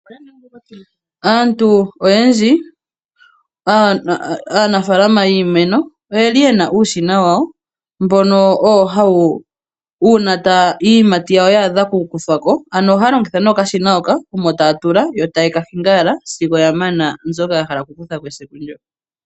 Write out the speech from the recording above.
Aantu oyendji aanafalama yiimeno oye li ye na uushina wawo. Uuna iiyimati yawo ya adha okukuthwa ko, ano ohaya longitha nee okashina hoka omo taya tula, taye ka hingi owala sigo ya mana mbyoka ya hala okukutha ko esiku ndoka.